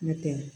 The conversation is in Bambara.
N'o tɛ